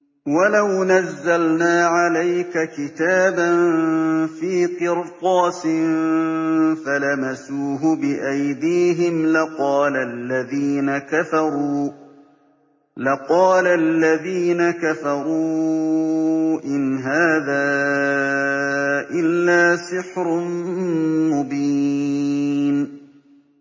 وَلَوْ نَزَّلْنَا عَلَيْكَ كِتَابًا فِي قِرْطَاسٍ فَلَمَسُوهُ بِأَيْدِيهِمْ لَقَالَ الَّذِينَ كَفَرُوا إِنْ هَٰذَا إِلَّا سِحْرٌ مُّبِينٌ